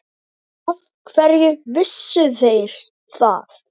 Af hverju vissu þeir það?